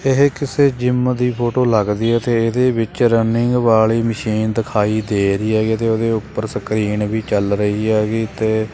ਇਹ ਕਿਸੇ ਜਿਮ ਦੀ ਫੋਟੋ ਲੱਗਦੀ ਐ ਤੇ ਇਹਦੇ ਵਿੱਚ ਰਨਿੰਗ ਵਾਲੀ ਮਸ਼ੀਨ ਦਿਖਾਈ ਦੇ ਰਹੀ ਹੈਗੀ ਅਤੇ ਉਹਦੇ ਉੱਪਰ ਸਕਰੀਨ ਵੀ ਚੱਲ ਰਹੀ ਹੈਗੀ ਤੇ--